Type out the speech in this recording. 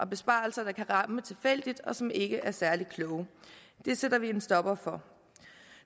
besparelser der kan ramme tilfældigt og som ikke er særlig kloge det sætter vi en stopper for